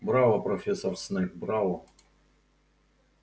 браво профессор снегг браво